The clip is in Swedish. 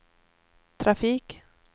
trafik